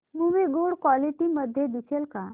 movie good quality मध्ये दिसेल का